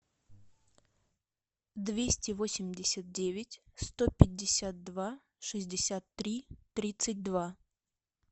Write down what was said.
двести восемьдесят девять сто пятьдесят два шестьдесят три тридцать два